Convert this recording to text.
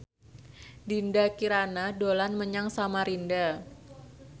Dinda Kirana dolan menyang Samarinda